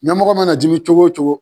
Ɲamɔgɔ mana dimi cogo o cogo.